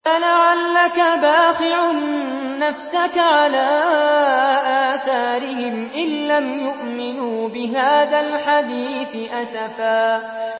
فَلَعَلَّكَ بَاخِعٌ نَّفْسَكَ عَلَىٰ آثَارِهِمْ إِن لَّمْ يُؤْمِنُوا بِهَٰذَا الْحَدِيثِ أَسَفًا